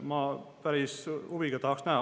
Ma päris huviga tahaks näha …